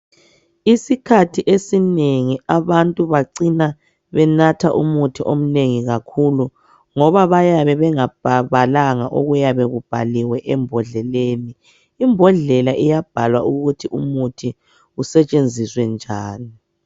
Isikhathi esinengi abantu bacina benatha umuthi omunengi kakhulu .Ngoba bayabe bengabalanga okuyabe kubhaliwe embodleleni. Imbodlela iyabhalwa ukuthi , umuthi usetshenziswe njani.